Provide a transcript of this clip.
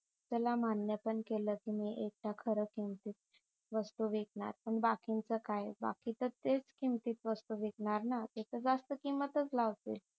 त्याला मान्य पण केल तुम्ही एकदा खर किमतीत वस्तू विकणार पण बाकींच काय बाकींचे तेच किमतीत वस्तू विकणार ना ते तर जास्त किंमतच लावतील